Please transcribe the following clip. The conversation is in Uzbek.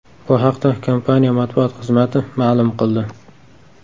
Bu haqda kompaniya matbuot xizmati ma’lum qildi .